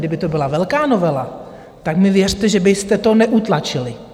Kdyby to byla velká novela, tak mi věřte, že byste to neutlačili.